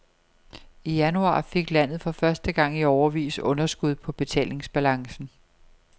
I januar fik landet for første gang i årevis underskud på betalingsbalancen.